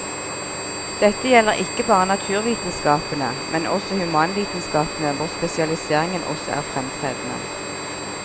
Dette gjelder ikke bare naturvitenskapene, men også humanvitenskapene hvor spesialiseringen også er fremtredende.